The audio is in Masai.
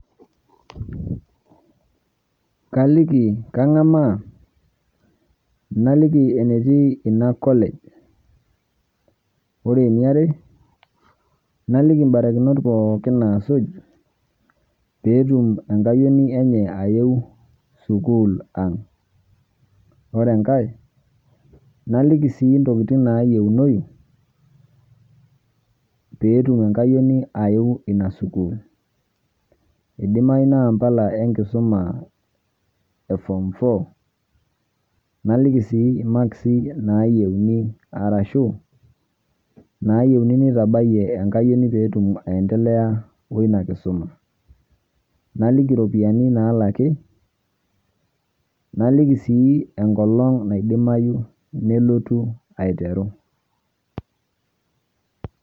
Kaliki kang'amaa naliki enetii ina college, ore eniare naliki mbarakinot pookin naasuj peetum enkayioni enye ayeu sukuul ang'. Ore enkae naliki sii ntokitin naayeunoyu peetum enkayioni ayeu ina sukuul, idimayu naa mpala enkisuma e form four, naliki sii imaksi nayeuni arashu naayeuni nitabayie enkayioni peetum aiendelea wo ina kisuma, naliki iropiani naalaki, naliki sii enkolong' naidimayu nelotu aiteru.